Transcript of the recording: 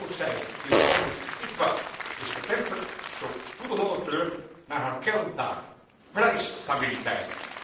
Toch moet zij, nu de onrust wat is getemperd, zo spoedig mogelijk terug naar haar kerntaak prijsstabiliteit.